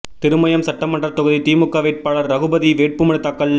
திருமயம் சட்டமன்ற தொகுதி திமுக வேட்பாளர் ரகுபதி வேட்புமனு தாக்கல்